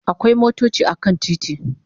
Akwai motochi a kan titi